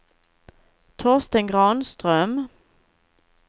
Torsten Granström